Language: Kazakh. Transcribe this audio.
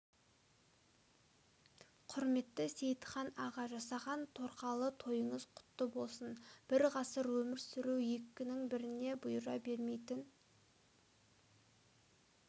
құрметті сейітхан аға жасаған торқалы тойыңыз құтты болсын бір ғасыр өмір сүру екінің біріне бұйыра бермейтін